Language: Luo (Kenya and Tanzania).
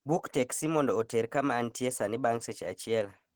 Buk teksi mondo oter kama antie sani bang' seche achiel